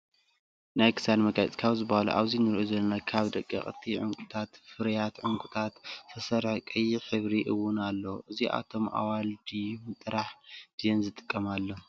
ናይ ክሳድ መጋፂ ካብ ዝባሃሉ ኣብዚ እንሪኦ ዘለና ካብ ደቀቅቲ ዕንቁታትን ፍርያት ዕንቁታት ዝተሰረሐ ቀይሕ ሕብሪ እውን ኣለዎም። እዚኣቶም ኣዋልድዮም ጥራሕ ድየን ዝጥቀምሎም ?